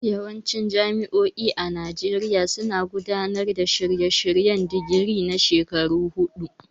Yawancin jami'o'i a Najeriya suna gudanar da shirye-shiryen digiri na shekaru huɗu.